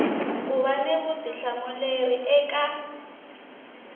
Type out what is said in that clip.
ku va ni vutihlamuleri eka